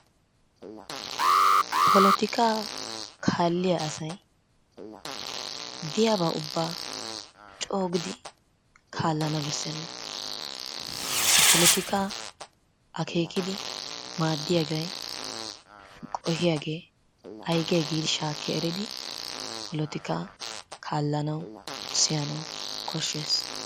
polotikaa kaalliyaa asay diyaabaa ubbaa coogidi kaallana beessena. Ha polotikkaa akeekidi maaddiyaagee qoohiyaagee aygee giidi shaakki eridi polotikkaa kaallanawu siyanawu koshshees.